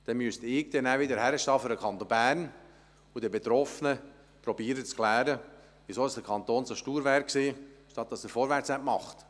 – Dann müsste ich wieder für den Kanton Bern hinstehen und den Betroffenen zu erklären versuchen, weshalb der Kanton so stur war anstatt vorwärts zu machen.